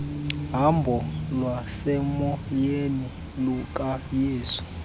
hambo lwasemoyeni lukayesu